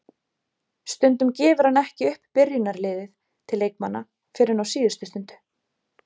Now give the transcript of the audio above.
Stundum gefur hann ekki upp byrjunarliðið til leikmanna fyrr en á síðustu stundu.